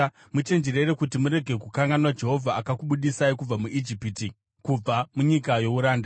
muchenjerere kuti murege kukanganwa Jehovha, akakubudisai kubva muIjipiti, kubva munyika youranda.